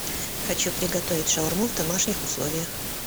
хочу приготовить шаурму в домашних условиях